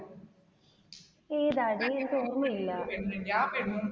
ഏതാടി എനിക്ക് ഓർമ്മയില്ല.